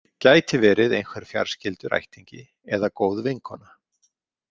Gæti verið einhver fjarskyldur ættingi, eða góð vinkona.